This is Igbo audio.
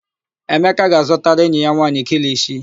Emeka ga-azụtara enyi ya nwaanyị kilishi.